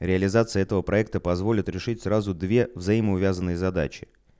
реализация этого проекта позволит решить сразу две взаимоувязанные задачи